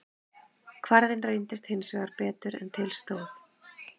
Kvarðinn reyndist hins vegar betur en til stóð.